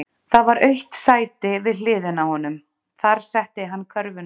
Það var autt sæti við hliðina á honum, þar setti hann körfuna.